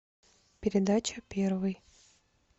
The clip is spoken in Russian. передача первый